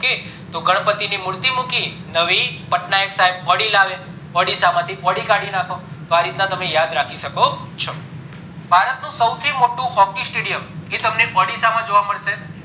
તો ગણપતિ ની મૂર્તિ મૂકી નવી પટનાયક સાયબ audio લાવ્યા audio માંથી ઓડી કાઢી નાખો તો આ રીતના તમે યાદ રાખી શકો છો ભારત નું સૌથી મોટું hockey stadium એ તમને ઓડીસા માં જોવા મળશે